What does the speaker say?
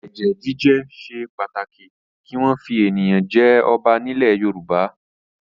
Ẹ̀jẹ̀ jíjẹ ṣe pàtàkì kí wọ́n fi ènìyàn jẹ ọba nílẹ̀ Yorùbá.